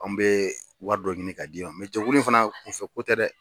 Anw bɛ wari dɔ ɲini k'a d'i ma fana kunfɛko tɛ dɛ